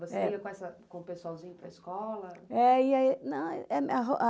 Você ia com essa, com o pessoalzinho para a escola?